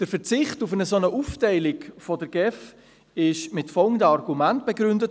Der Verzicht auf eine Aufteilung der GEF wurde mit folgenden Argumenten begründet: